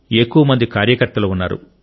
ఎక్కువ మంది కార్య కర్తలు ఉన్నారు